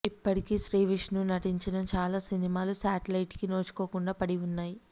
ఇప్పటికీ శ్రీవిష్ణు నటించిన చాలా సినిమాలు శాటిలైట్ కి నోచుకోకుండా పడి ఉన్నాయి